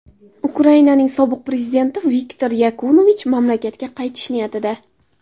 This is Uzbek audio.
Ukrainaning sobiq prezidenti Viktor Yanukovich mamlakatga qaytish niyatida.